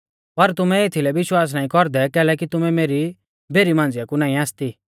पर तुमै एथीलै विश्वास नाईं कौरदै कैलैकि तुमै मेरी भेरी मांझ़िया कु नाईं आसती